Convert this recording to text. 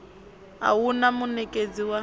a hu na munekedzi wa